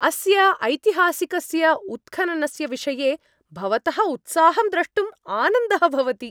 अस्य ऐतिहासिकस्य उत्खननस्य विषये भवतः उत्साहं द्रष्टुम् आनन्दः भवति।